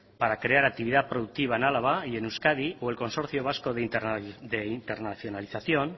para crear actividad productiva en álava y en euskadi o el consorcio vasco de internacionalización